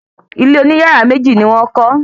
Ilé oní yàrá méjì ni wọ́n kọ́